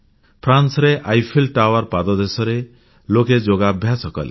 ଫ୍ରାନ୍ସର Eiffel tower ପାଦଦେଶରେ ଲୋକେ ଯୋଗାଭ୍ୟାସ କଲେ